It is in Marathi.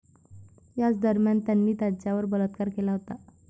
याच दरम्यान त्याने तिच्यावर बलात्कार केला होता.